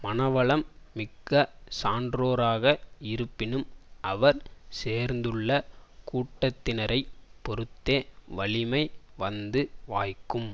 மனவளம் மிக்க சான்றோராக இருப்பினும் அவர் சேர்ந்துள்ள கூட்டத்தினரைப் பொருத்தே வலிமை வந்து வாய்க்கும்